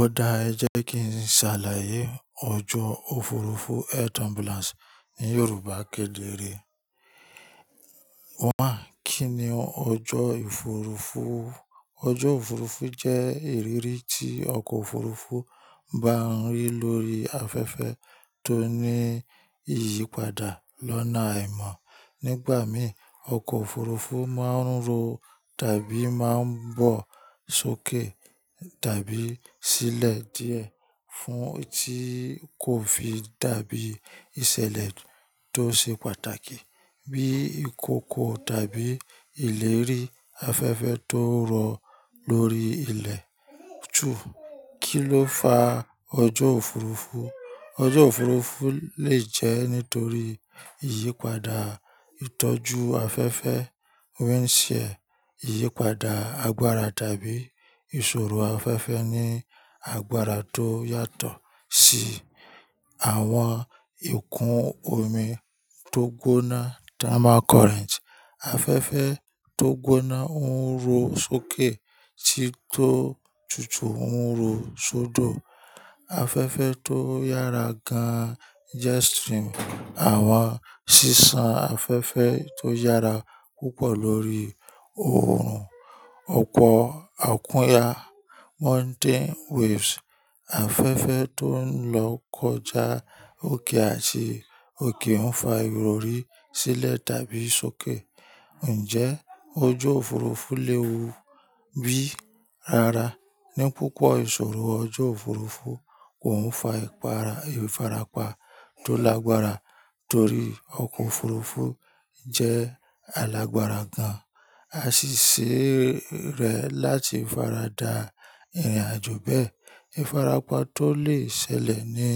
Ó dá ẹ jẹ́ kí n ṣàlàyé ọjọ́ òfurufú Air trambulance ní Yorùbá kedere. One, kí ni ọjọ́ òfurufú? Ọjọ́ òfurufú jẹ́ ìrírí tí ọkọ̀ òfurufú bá ń rí lórí afẹ́fẹ́ tó ní ìyípadà lọ́nà àìmọ̀. Nígbà mìí, ọkọ̀ òfurufú máa ń ro tàbí máa ń bọ̀ sókè tàbí sílẹ̀ díẹ̀ fún tí kò fi dàbí ìṣẹ̀lẹ̀ tó ṣe pàtàkì bí ìkòkò tàbí ìlérí afẹ́fẹ́ tó ń rọ̀ lórí ilẹ̀. Two, kí ló fa ọjọ́ òfurufú? Ọjọ́ òfurufú lè jẹ́ nítorí ìyípadà ìtọ́jú afẹ́fẹ́, wind shear, ìyípadà agbára tàbí ìṣòro afẹ́fẹ́ ní agbára tó yàtọ̀ Tí àwọn ìkún omi tó gbóná, thermal current. Afẹ́fẹ́ tó gbóná ń ro sókè tí tó tutù ń ro sódò. Afẹ́fẹ́ tó yára gan, jet stream, àwọn sísan afẹ́fẹ́ tó yára púpọ̀ lórí oòrùn, ọkọ̀ akúnya, mountain waves, afẹ́fẹ́ tó ń lọ kọjá òkè àti òkè ń fa ìrọrí sílẹ̀ tàbí sókè. Ǹjẹ́ ọjọ́ òfurufú léwu bí? Rara Ní púpọ̀ ìṣòro ọjọ́ òfurufú, òun fa ìfarapa tó lágbára torí ọkọ̀ òfurufú jẹ́ alágbára gan, àṣìṣe rẹ̀ láti faradà ìrìnàjò bẹ́ẹ̀. Ifarapa tó lè ṣẹlẹ̀ ni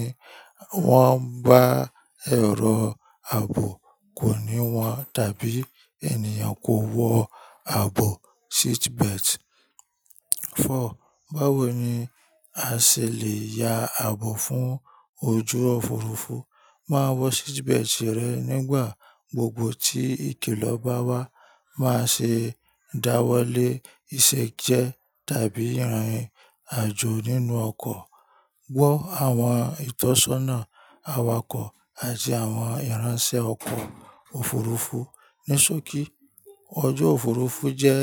wọ́n bá ẹ̀rọ ààbò kò ní wọn tàbí ènìyàn kò wọ ààbò, seatbelt. Four, báwo ni a ṣè lè ya ààbò fún ojú òfurufú? Máa wọ seatbelt rẹ nígbà gbogbo tí ìkiló bá wá. Máa ṣe ìdáwọ́lé ìṣejẹ tàbí ìrìnàjò nínú ọkọ̀. Gbọ́ àwọn ìtọ́sọ́nà awakọ̀ àti àwọn ìránṣẹ́ ọkọ̀ òfurufú. Ní sókí, ọjọ́ òfurufú jẹ́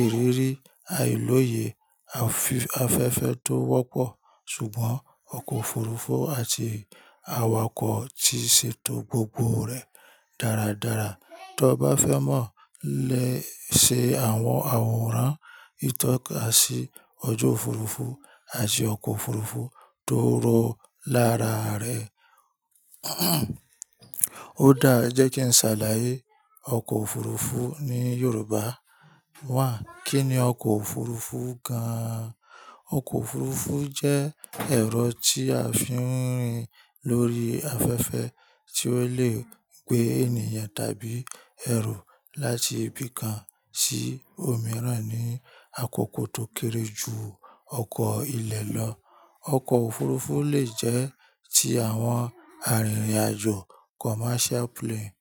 ìrírí àìlòyè afí afẹ́fẹ́ tó wọ́pọ̀, ṣùgbọ́n ọkọ̀ òfurufú àti awakọ̀ ti ṣètò gbogbo rẹ̀ dáradára. Tọ bá fẹ́ mọ̀ léṣe àwọn àwòrán ìtọ́ka sí ọjọ́ òfurufú àti ọkọ̀ òfurufú tó rọ̀ lára rẹ, ó dá ẹ jẹ́ kí n ṣàlàyé ọkọ̀ òfurufú ní Yorùbá. One, kí ni ọkọ̀ òfurufú gan-an? Ọkọ̀ òfurufú jẹ́ ẹ̀rọ tí a fi ń rìn lórí afẹ́fẹ́ tí ó lè gbé ènìyàn tàbí ẹ̀rọ láti ibi kan sí òmíràn ní àkókò tó kéré jù ọkọ̀ ilẹ̀ lọ. Ọkọ̀ òfurufú lè jẹ́ ti àwọn arìnrìn-àjò, commercial plane,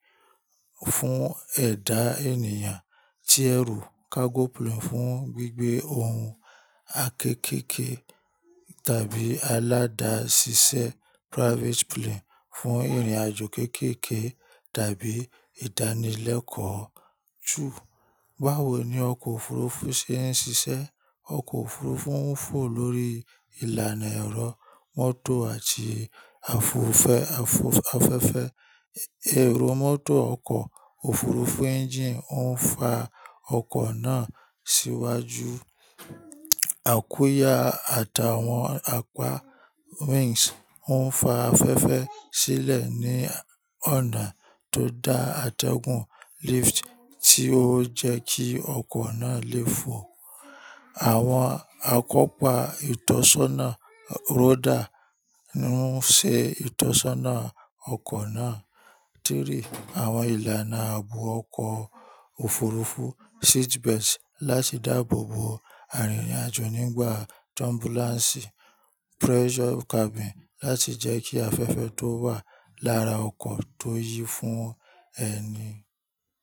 fún ẹ̀dá ènìyàn tí ẹ̀ru cargo plane fún gbígbé ohun akékèké tàbí aládàṣiṣẹ́ private plane fún ìrìnàjò kéékèèké tàbí ìdánilẹ́kọ̀ọ́. Tu, báwo ni ọkọ̀ òfurufú ṣe ń ṣiṣẹ́? Ọkọ̀ òfurufú ń fò lórí ìlànà ẹ̀rọ mọ́tò àti àfòfẹ́ afọ̀, afẹ́fẹ́. Ẹ̀rọ mọ́tò ọkọ̀ òfurufú engine ó ń fa ọkọ̀ náà síwájú. Àkúya àtàwọn apá wings ń fa afẹ́fẹ́ sílẹ̀ ní ọ̀nà tó dá àtẹ̀gùn lift tí ó ń jẹ́ kí ọkọ̀ náà lè fò. Àwọn akọ́pa ìtọ́sọ́nà rodder ń ṣe ìtọ́sọ́nà ọkọ̀ náà. Three, àwọn ìlànà ààbò ọkọ̀ òfurufú seatbelt láti dàbòbo arìnrìn-àjò nígbà turbulence. Pressure cabin láti jẹ́ kí afẹ́fẹ́ tó wà lára ọkọ̀ tó yí fún ẹni.